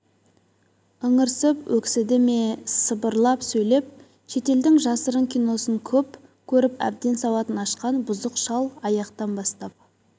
ыңырсып өксіді ме сыбырлап сөйлеп шетелдің жасырын киносын көп көріп әбден сауатын ашқан бұзық шал аяқтан бастап